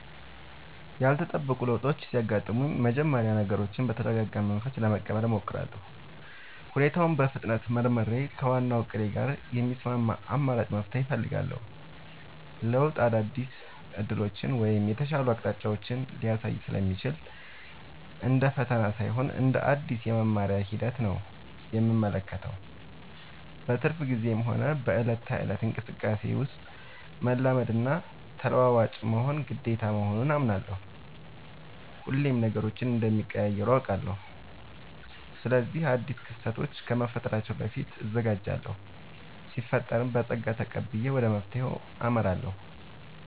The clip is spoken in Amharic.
ያልተጠበቁ ለውጦች ሲያጋጥሙኝ በመጀመሪያ ነገሮችን በተረጋጋ መንፈስ ለመቀበል እሞክራለሁ። ሁኔታውን በፍጥነት መርምሬ፣ ከዋናው እቅዴ ጋር የሚስማማ አማራጭ መፍትሄ እፈልጋለሁ። ለውጥ አዳዲስ ዕድሎችን ወይም የተሻሉ አቅጣጫዎችን ሊያሳይ ስለሚችል፣ እንደ ፈተና ሳይሆን እንደ አዲስ የመማሪያ ሂደት ነው የምመለከተው። በትርፍ ጊዜዬም ሆነ በዕለት ተዕለት እንቅስቃሴዬ ውስጥ፣ መላመድና ተለዋዋጭ መሆን ግዴታ መሆኑን አምናለሁ። ሁሌም ነገሮች እንደሚቀያየሩ አውቃለሁ። ስለዚህ አዳዲስ ክስተቶች ከመፈጠራቸው በፊት እዘጋጃለሁ ሲፈጠርም በፀጋ ተቀብዬ ወደ መፍትሄው አመራለሁ።